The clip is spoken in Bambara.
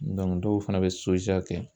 dɔw fana bɛ kɛ